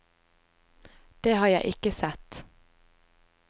Det har jeg ikke sett.